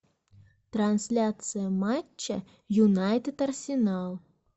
трансляция матча юнайтед арсенал